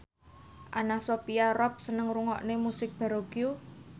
Anna Sophia Robb seneng ngrungokne musik baroque